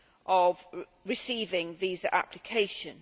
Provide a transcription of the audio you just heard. of receiving visa applications.